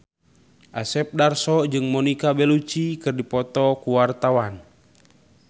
Asep Darso jeung Monica Belluci keur dipoto ku wartawan